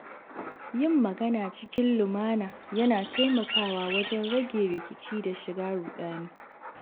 Yin magana cikin lumana yana taimakawa wajen rage rikici da shiga ruɗani.